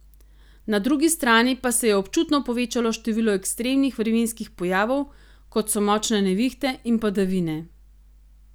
Na drugi strani pa se je občutno povečalo število ekstremnih vremenskih pojavov, kot so močne nevihte in padavine.